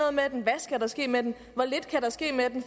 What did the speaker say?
med den hvad skal der ske med den hvor lidt kan der ske med den